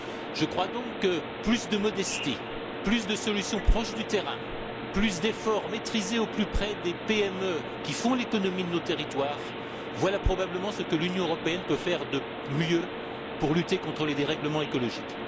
Je crois donc que plus de modestie, plus de solutions proches du terrain, plus d'efforts maîtrisés au plus près des PME, qui font l'économie de nos territoires, voilà probablement ce que l'Union européenne peut faire de mieux pour lutter contre les dérèglements écologiques.